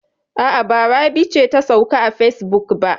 A'a, ba Rabi ce ta sauka a facebook ba.